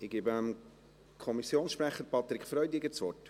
Ich gebe Kommissionssprecher Patrick Freudiger das Wort.